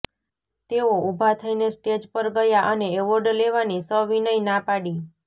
તેઓ ઊભા થઇને સ્ટેજ પર ગયા અને એવોર્ડ લેવાની સવિનય ના પાડી